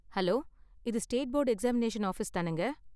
Hello, இது state board examination office தானேங்க?